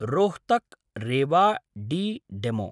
Rohtak-Rewari DEMU